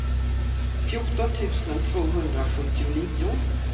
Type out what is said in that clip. fjorton tusen tvåhundrasjuttionio